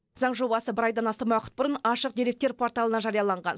заң жобасы бір айдан астам уақыт бұрын ашық деректер порталына жарияланған